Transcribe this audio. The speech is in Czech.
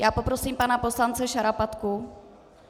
Já poprosím pana poslance Šarapatku.